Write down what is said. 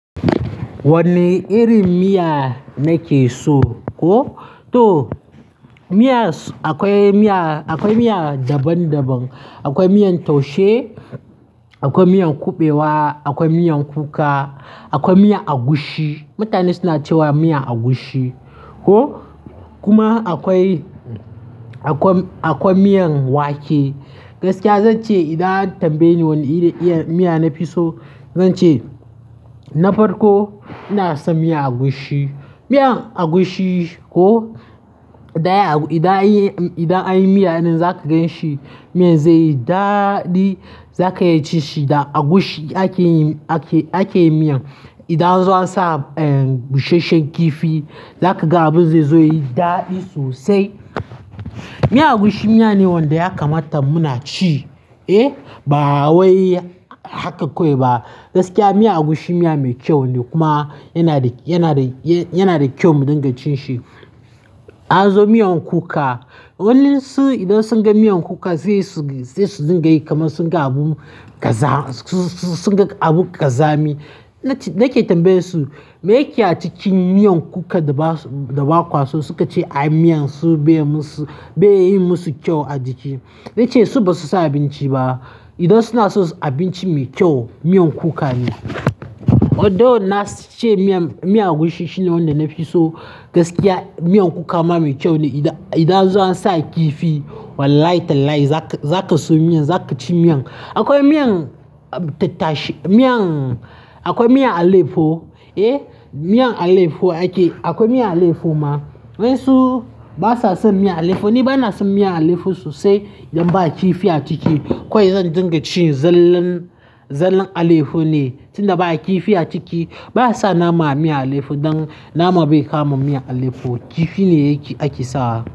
Wane irin miya nake so? Ko? To miya akwai miya, akwai miya daban daban. Akwai miyan taushe, akwai miyan kuɓewa, akwai miyan kuka, akwai miyan agushi. Mutane suna cewa miyan agushi. Ko? Kuma akwai, akwai, akwai miyan wake. Gaskiya zan ce idan an tambaye ni wani irin miya na fi so, zan ce na farko ina son miyan agushi. Miyan agushi ko, daya, idan an yi, idan an yi miya nan za ka gan shi. Miya zai yi daɗi. Za ka iya cin shi da agushi ake, ake, ake miyan. Idan anzo an sa bushesh shen kifi, za kaga abin zai zo yi daɗi sosai. Miyan agushi miya ne wanda ya kamata muna ci. Eh? Ba wai haka kawai ba. Gaskiya miyan agushi miya mai kyau ne kuma yana da, yana da, yana da kyau mu dinga cin shi. An zo miyan kuka. Waninsu idan sun ga miyan kuka zai su, zai su dinga yi kamar sun ga abun ƙaza, su, su, sun ga abu ƙazami. Nake tambayen su, me yake a cikin miyan kuka da ba kwaso suka ce a yi miyan su bai yi musu, bai yi musu kyau a jiki. Na ce su ba su san abinci ba. Idan suna so abinci mai kyau, miyan kuka ne. Although na ce miyan agushi shine wanda nafi so gaskiya miyan kuka ma mai kyau ne. Idan, anzo ansa kifi wallahi tallahi za ka, za ka so miyan. Za ka ci miyan. Akwai miyan tattashe, miyan akwai miyan aleyefo. Eh, miyan alefo ake, akwai miyan alefo ma. Waninsu ba sa son miyan alefo ni. Ba na son miyan alefo sosai idan ba a ki fi a ciki. Kawai zan dinga cin zallan, zallan alefo ne tunda ba kifi a ciki. Ba sa nama a miyan alefo dan nama bai kama miyan alefo. Kifi ne ake sa.